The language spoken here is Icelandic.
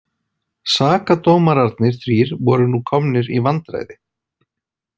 Sakadómararnir þrír voru nú komnir í vandræði.